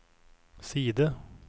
side